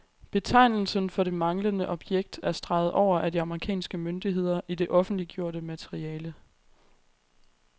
Betegnelsen for det manglende objekt er streget over af de amerikanske myndigheder i det offentliggjorte materiale.